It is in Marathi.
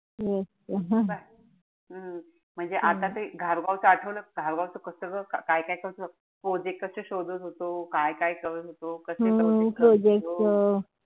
हम्म म्हणजे आता ते धारगाव च आठवलं. धारगाव च कस ग काय-काय कस project कशे शोधात होतो. काय-काय करत होतो. कशे करत होतो.